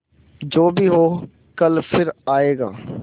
जो भी हो कल फिर आएगा